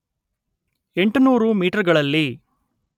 ಎಂಟು ನೂರು ಮೀಟರ್‌ಗಳಲ್ಲಿ